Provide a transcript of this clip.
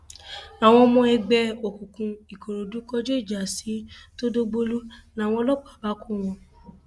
àwọn ọmọ ẹgbẹ òkùnkùn ìkòròdú kọjú ìjà sí tọdọgbòlù làwọn ọlọpàá bá kọ wọn